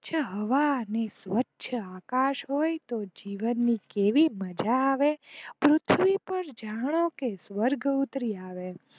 સ્વચ્છ હવા, અને સ્વચ્છઆકાશ હોય તો જીવન ની કેવી મજા આવે, પૃથ્વી પાર જાણો કે સ્વર્ગ ઉતરી આવે.